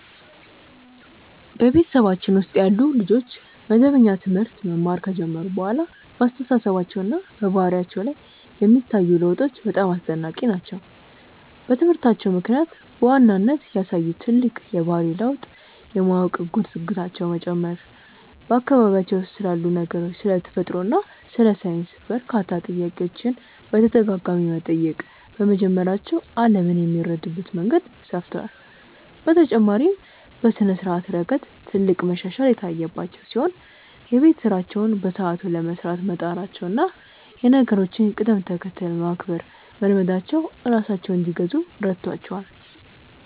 በቤተሰባችን ውስጥ ያሉ ልጆች መደበኛ ትምህርት መማር ከጀመሩ በኋላ በአስተሳሰባቸውና በባህሪያቸው ላይ የሚታዩት ለውጦች በጣም አስደናቂ ናቸው። በትምህርታቸው ምክንያት በዋናነት ያሳዩት ትልቅ የባህሪ ልዩነት የማወቅ ጉጉታቸው መጨመሩ ነው፤ በአካባቢያቸው ስላሉ ነገሮች፣ ስለ ተፈጥሮ እና ስለ ሳይንስ በርካታ ጥያቄዎችን በተደጋጋሚ መጠየቅ በመጀመራቸው ዓለምን የሚረዱበት መንገድ ሰፍቷል። በተጨማሪም በስነ-ስርዓት ረገድ ትልቅ መሻሻል የታየባቸው ሲሆን፣ የቤት ስራቸውን በሰዓቱ ለመስራት መጣራቸውና የነገሮችን ቅደም-ተከተል ማክበር መልመዳቸው ራሳቸውን እንዲገዙ ረድቷቸዋል።